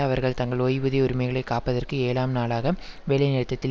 அவர்கள் தங்கள் ஓய்வூதிய உரிமைகளை காப்பதற்கு ஏழாம் நாளாக வேலைநிறுத்தத்தில்